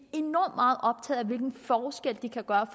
enormt meget optaget af hvilken forskel de kan gøre